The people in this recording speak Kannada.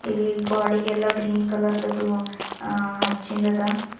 ಇಲ್ಲಿ ಗ್ವಾಡಿಗೆಲ್ಲ ಗ್ರೀನ್ ಕಲರ್ ದದು ಅಚ್ಚಿಂದದ.